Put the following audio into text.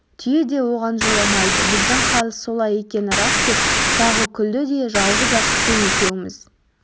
түйе де оған жоламайды біздің хал солай екені рас деп тағы күлді де жалғыз-ақ сен екеуміз